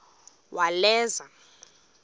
uwaleza